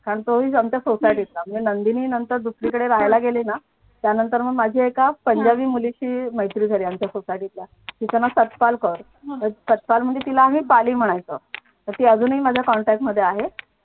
कारण तोही आमच्या सोसायटीतला म्हणजे नंदिनी नंतर दुसरीकडे राहायला गेली ना त्यानंतर मग माझी एका पंजाबी मुलीशी मैत्री झाली आमच्या society तल्या तिच ना नाव सतपाल कर सतपाल म्हणजे आम्ही तिला पाली म्हणायचो तर ती अजूनही माझ्या contact मध्ये आहे.